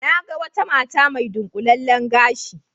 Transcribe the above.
Na ga wata mata mai dunƙulallen gashi